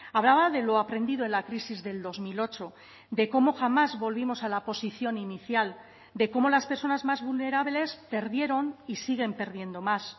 hablaba de lo aprendido en la crisis del dos mil ocho de cómo jamás volvimos a la posición inicial de cómo las personas más vulnerables perdieron y siguen perdiendo más